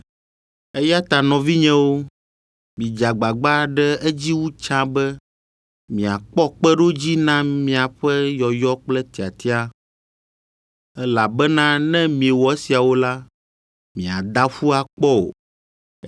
Eya ta nɔvinyewo, midze agbagba ɖe edzi wu tsã be miakpɔ kpeɖodzi na miaƒe yɔyɔ kple tiatia. Elabena ne miewɔ esiawo la, miada ƒu akpɔ o,